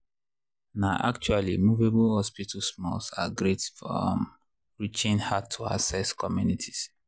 na actually movable hospital smalls are great for um reaching hard-to-access communities.